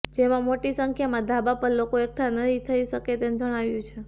જેમાં મોટી સંખ્યામાં ધાબા પર લોકો એકઠા નહીં થઇ શકે તેમ જણાવ્યું છે